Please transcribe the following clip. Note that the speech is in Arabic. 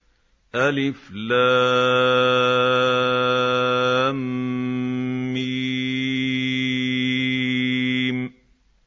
الم